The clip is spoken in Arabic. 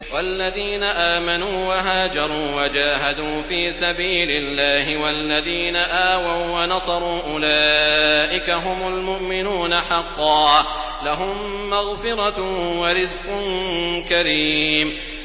وَالَّذِينَ آمَنُوا وَهَاجَرُوا وَجَاهَدُوا فِي سَبِيلِ اللَّهِ وَالَّذِينَ آوَوا وَّنَصَرُوا أُولَٰئِكَ هُمُ الْمُؤْمِنُونَ حَقًّا ۚ لَّهُم مَّغْفِرَةٌ وَرِزْقٌ كَرِيمٌ